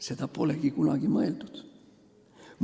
Seda pole kunagi mõeldud.